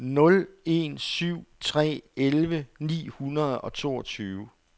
nul en syv tre elleve ni hundrede og toogtyve